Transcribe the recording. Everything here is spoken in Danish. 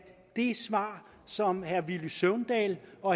det svar som herre villy søvndal og